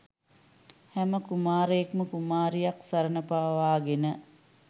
හැම කුමාරයෙක්ම කුමාරියක් සරණ පාවාගෙන